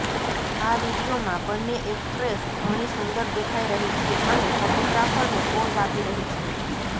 આ વીડિયોમાં બન્ને એક્ટ્રેસ ઘણી સુંદર દેખાઈ રહી છે અને ફોટોગ્રાફરને પોઝ આપી રહી છે